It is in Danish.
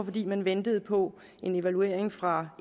fordi man ventede på en evaluering fra